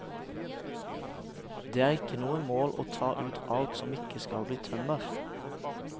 Det er ikke noe mål å ta ut alt som ikke skal bli tømmer.